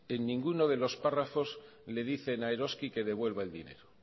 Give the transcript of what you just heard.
en ninguno de los párrafos le dicen a eroski que devuelva el dinero